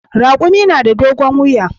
Raƙumi na da dogon wuya.